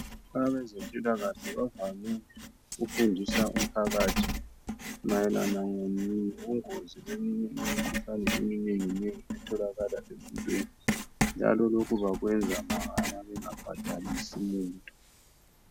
Abezempilakahle bavamile ukufundisa umphakathi mayelana ngobungozi beminye imikhuhlane eminengi nengi etholakala empilweni. Njalo lokhu bakwenza mahala bengabhadalisi muntu.